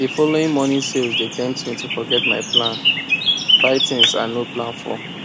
the following morning sales dey tempt me to forget my plan buy things i no plan for